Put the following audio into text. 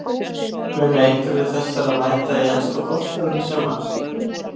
Munu einhverjir þessara mæta í enska boltann í sumar?